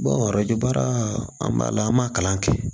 arajo baara an b'a la an b'a kalan kɛ